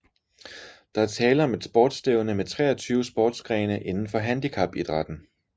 Der er tale om et sportstævne med 23 sportsgrene inden for handicapidrætten